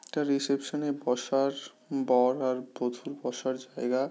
এটা রিসেপশন এ বসার বর আর বধুর বসার জায়গা।